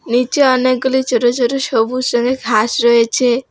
নীচে অনেকগুলি ছোট ছোট সবুজ রঙের ঘাস রয়েছে।